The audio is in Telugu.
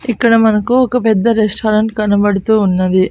ఇక్కడ మనకు ఒక పెద్ద రెస్టారెంట్ కనబడుతూ ఉన్నది.